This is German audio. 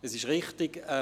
Es ist richtig: